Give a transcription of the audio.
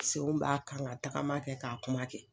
Senw b'a kan ka tagama kɛ ka kuma kɛ.